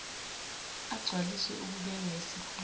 agcwaliswe abekwa yisikhungo